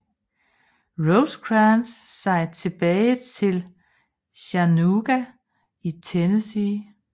Rosecrans sig tilbage til Chattanooga i Tennessee